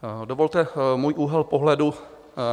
Dovolte můj úhel pohledu.